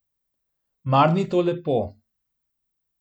Mar ni to lepo?